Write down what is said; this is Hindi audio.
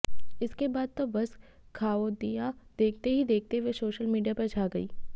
इसके बाद तो बस खाओदिया देखते ही देखते वो सोशल मीडिया पर छा गई